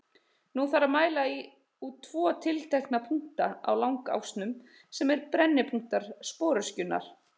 Nú þarf að mæla út tvo tiltekna punkta á langásnum, sem eru brennipunktar sporöskjunnar.